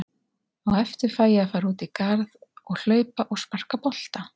Á eftir fæ ég að fara út í garð og hlaupa og sparka bolta.